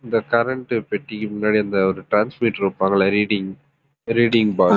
இந்த current பெட்டிக்கு முன்னாடி அந்த ஒரு transmitter வைப்பாங்கள்ல reading reading box